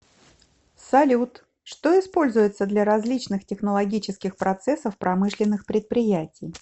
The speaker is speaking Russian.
салют что используется для различных технологических процессов промышленных предприятий